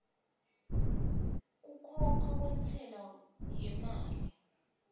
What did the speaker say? kukhokha kwentsela yemali